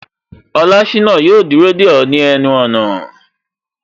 Olashina yo dúró de o ni ẹnu ona